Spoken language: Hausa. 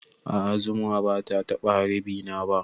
A'a zuma bata taɓa harbi na ba